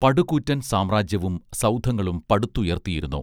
പടുകൂറ്റൻ സാമ്രാജ്യവും സൗധങ്ങളും പടുത്തുയർത്തിയിരുന്നു